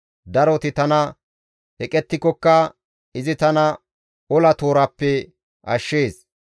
Daroti tana eqettikokka, izi tana ola tooraappe ashshees.